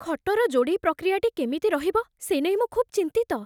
ଖଟର ଯୋଡ଼େଇ ପ୍ରକ୍ରିୟାଟି କେମିତି ରହିବ, ସେ ନେଇ ମୁଁ ଖୁବ୍ ଚିନ୍ତିତ।